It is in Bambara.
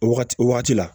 O wagati o wagati la